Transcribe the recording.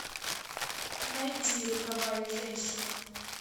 найди роковая женщина